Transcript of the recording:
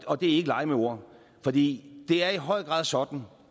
og det er ikke leg med ord for det er i høj grad sådan